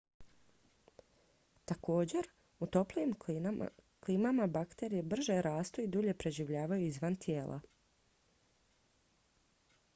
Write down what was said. također u toplijim klimama bakterije brže rastu i dulje preživljavaju izvan tijela